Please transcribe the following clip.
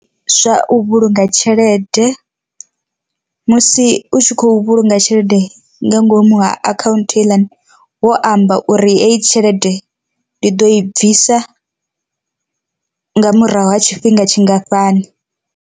Zwa u vhulunga tshelede, musi u tshi khou vhulunga tshelede nga ngomu ha akhaunthu heiḽani wo amba uri heyi tshelede ndi ḓo i bvisa nga murahu ha tshifhinga tshingafhani.